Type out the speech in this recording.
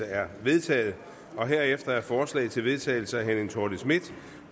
er vedtaget herefter er forslag til vedtagelse af helle thorning schmidt